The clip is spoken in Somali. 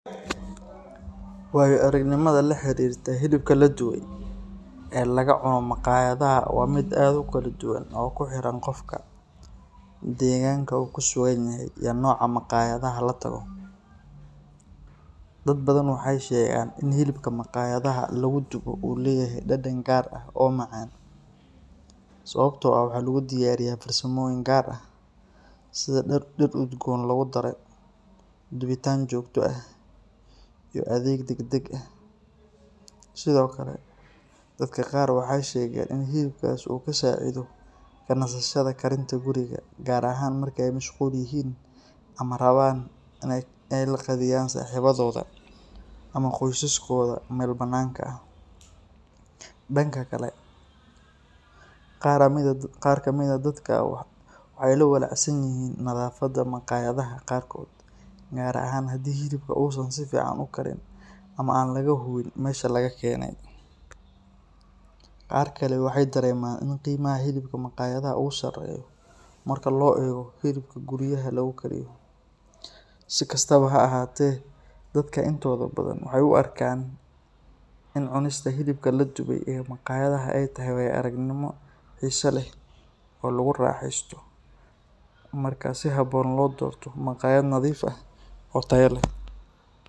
Wayo-aragnimada la xiriirta hilibka la dubay ee laga cuno maqaayadaha waa mid aad u kala duwan oo ku xiran qofka, deegaanka uu ku sugan yahay, iyo nooca maqaayadaha la tago. Dad badan waxay sheegaan in hilibka maqaayadaha lagu dubo uu leeyahay dhadhan gaar ah oo macaan, sababtoo ah waxaa lagu diyaariyaa farsamooyin gaar ah sida dhir udgoon lagu daro, dubitaan joogto ah, iyo adeeg degdeg ah. Sidoo kale, dadka qaar waxay sheegeen in hilibkaas uu ka saacido ka nasashada karinta guriga, gaar ahaan marka ay mashquul yihiin ama rabaan in ay la qadeeyaan saaxiibadooda ama qoysaskooda meel bannaanka ah. Dhanka kale, qaar ka mid ah dadka waxay ka walaacsan yihiin nadaafadda maqaayadaha qaarkood, gaar ahaan haddii hilibka uusan si fiican u karin ama aan laga hubin meesha laga keenay. Qaar kale waxay dareemaan in qiimaha hilibka maqaayadaha uu sarreeyo marka loo eego hilibka guryaha lagu kariyo. Si kastaba ha ahaatee, dadka intooda badan waxay u arkaan in cunista hilibka la dubay ee maqaayadaha ay tahay waayo-aragnimo xiiso leh oo lagu raaxaysto marka si habboon loo doorto maqaayad nadiif ah oo tayo le.